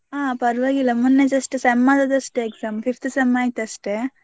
ಹಾ ಪರ್ವಾಗಿಲ್ಲಾ ಮೊನ್ನೆ just sem ಆದದ್ದು ಅಷ್ಟೇ exam fifth sem ಆಯ್ತು ಅಷ್ಟೇ.